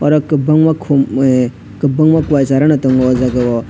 oro kwbangma khum eh kobangma kowai chara no tongo oh jaga o.